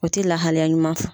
O ti lahalaya ɲuman fɔ.